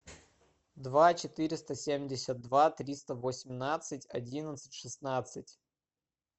два четыреста семьдесят два триста восемнадцать одиннадцать шестнадцать